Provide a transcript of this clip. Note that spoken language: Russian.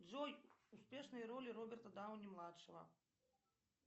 джой успешные роли роберта дауни младшего